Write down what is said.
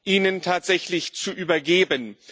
Ihnen tatsächlich zu übergeben.